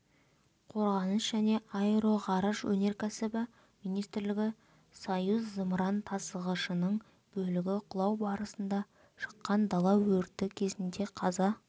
қорғаныс және аэроғарыш өнеркәсібі министрлігі союз зымыран тасығышының бөлігі құлау барысында шыққан дала өрті кезінде қаза